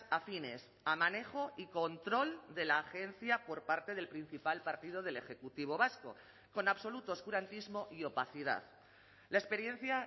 afines a manejo y control de la agencia por parte del principal partido del ejecutivo vasco con absoluto oscurantismo y opacidad la experiencia